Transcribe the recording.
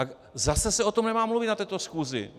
A zase se o tom nemá mluvit na této schůzi.